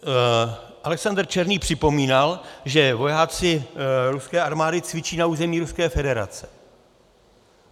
Alexander Černý připomínal, že vojáci ruské armády cvičí na území Ruské federace.